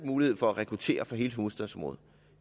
mulighed for at rekruttere fra hele hovedstadsområdet